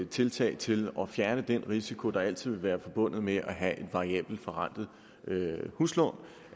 tiltag til at fjerne den risiko der altid vil være forbundet med det at have et variabelt forrentet huslån